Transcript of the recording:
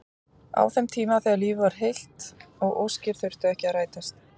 Á þeim tíma þegar lífið var heilt og óskir þurftu ekki að rætast.